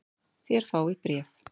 Þér fáið bréf!